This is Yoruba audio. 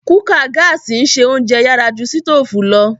Kùkàa gààsi n se ounjẹ yàrà ju sitoofù lo.